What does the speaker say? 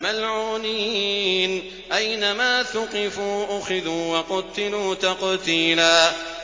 مَّلْعُونِينَ ۖ أَيْنَمَا ثُقِفُوا أُخِذُوا وَقُتِّلُوا تَقْتِيلًا